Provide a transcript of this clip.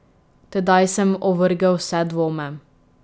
Tedaj sem ovrgel vse dvome.